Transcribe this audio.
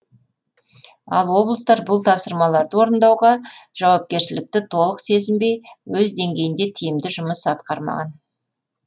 ал облыстар бұл тапсырмаларды орындауға жауапкершілікті толық сезінбей өз деңгейінде тиімді жұмыс атқармаған